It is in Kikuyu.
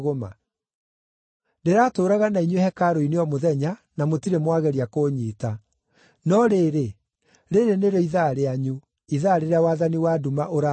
Ndĩratũũraga na inyuĩ hekarũ-inĩ o mũthenya, na mũtirĩ mwageria kũnyiita. No rĩrĩ, rĩĩrĩ nĩrĩo ithaa rĩanyu, ithaa rĩrĩa wathani wa nduma ũraathana.”